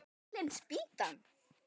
Fallin spýtan!